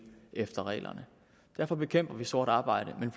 efter reglerne derfor bekæmper vi sort arbejde men